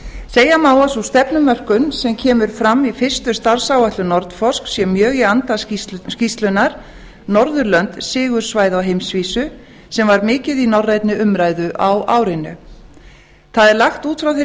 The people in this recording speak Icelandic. segja má að sú stefnumörkun sem kemur fram í fyrstu starfsáætlun nordforsk sé mjög í anda skýrslunnar norðurlönd sigursvæði á heimsvísu sem var mikið í norrænni umræðu á árinu það er lagt út frá þeirri